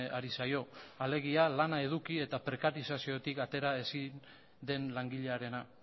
ari zaio alegia lana eduki eta prekarizaziotik atera ezin den langilearena